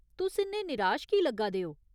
तुस इन्ने निराश कीह् लग्गा दे ओ?